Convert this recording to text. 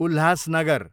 Ulhasnagar